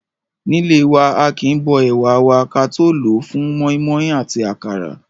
Nílé wa, aàkín bó ẹ̀wà wa ka tó lòó fún mọ́ímọ́í àti àkàrà.